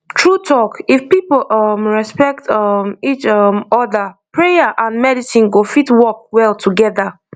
true talk if people um respect um each um other prayer and medicine go fit work well together